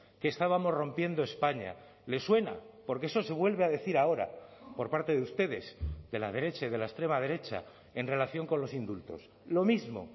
que estábamos rompiendo españa le suena porque eso se vuelve a decir ahora por parte de ustedes de la derecha y de la extrema derecha en relación con los indultos lo mismo